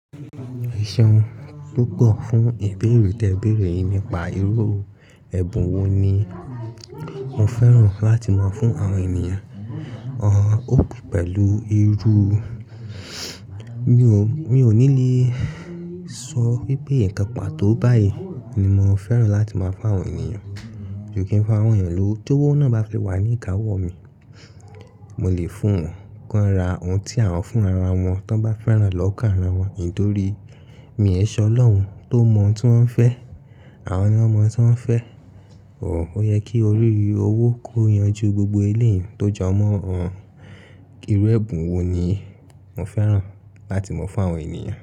Eseun púpọ̀ fún ìbéèrè tí ẹ béèrè nípa irú ẹ̀bùn wo ni mo fẹ́ràn láti mọ̀ fún àwọn ènìyàn. Pẹ̀lú irú, mi ò ní lè sọ wípé ǹkan pàtó báyìí ni mo fẹ́ràn láti mọ̀ fún àwọn ènìyàn. Mi ò kí ń fún àwọn ènìyàn lówo, towó náà bá fi wà ní ìkáwọ́ mi, mo lè fún wọn, kí wọ́n ra ohun tí àwọn fún ara wọn, tí wọ́n bá fẹ́ràn lọ́kà ara wọn. Nítorí, mi e se ọlọ́hun tó mọ̀un tí wọ́n ń fẹ́. Àwọn ni wọ́n mọ̀ tí wọ́n ń fẹ́. Ó yẹ kí orí owó kó yanju gbogbo ilẹ̀ tó jọmọ́ wọn. Irú ẹ̀bùn wo ni mo fẹ́ràn láti mọ̀ fún àwọn ènìyàn?